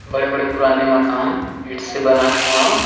बड़े बड़े पूराने मकान ईंट से बना हुआ--